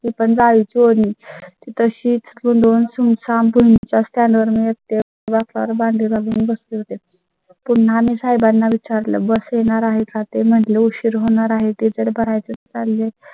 ची होईल. तशीच तून सुम साम गल्ली च्या stand मिळते व फार बाळगून बसले होते. पुन्हा मी साहेबांना विचारलं बस येणार आहे का ते म्हणजे उशीर होणार आहे ते बघाय चं चालेल.